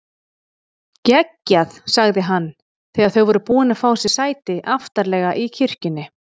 Geggjað sagði hann þegar þau voru búin að fá sér sæti aftarlega í kirkjunni.